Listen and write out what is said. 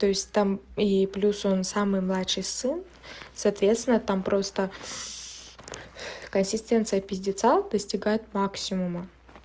то есть там и плюс он самый младший сын соответственно там просто консистенция пиздетса достигает максимума